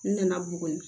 N nana buguni